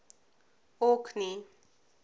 orkney